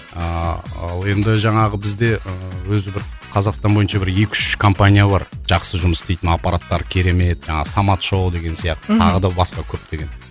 ыыы ал енді жаңағы бізде ыыы өзі бір қазақстан бойынша бір екі үш компания бар жақсы жұмыс істейтін аппараттары керемет жаңағы самат шоу деген сияқты тағы да басқа көптеген